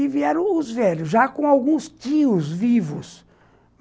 E vieram os velhos, já com alguns tios vivos.